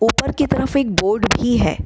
ऊपर की तरफ एक बोर्ड भी है।